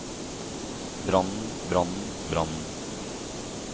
brannen brannen brannen